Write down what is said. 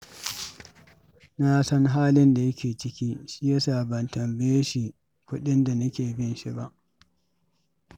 Na san halin da yake ciki, shi yasa ban tambaye shi kuɗin da nake bin sa ba.